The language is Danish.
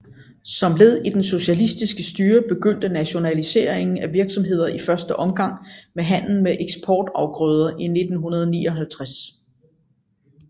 Som led i det socialistiske styre begyndte nationaliseringen af virksomheder i første omgang med handlen med eksportafgrøder i 1959